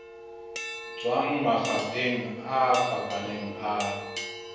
tswang mafapheng a fapaneng a